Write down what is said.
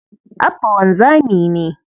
Abba wanzami ne.